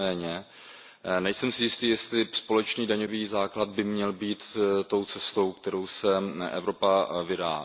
Nicméně, nejsem si jistý, jestli společný daňový základ by měl být tou cestou, kterou se Evropa vydá.